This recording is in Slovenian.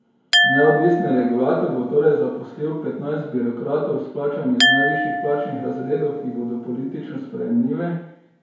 Neodvisni regulator bo torej zaposlil petnajst birokratov s plačami iz najvišjih plačnih razredov, ki bodo politično sprejemljivi.